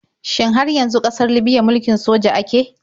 Shin har yanzu ƙasar libiya mulkin soja ake?